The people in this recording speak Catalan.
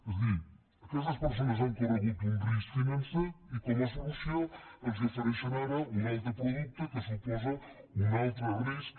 és a dir aquestes persones han corregut un risc financer i com a solució els ofereixen ara un altre producte que suposa un altre risc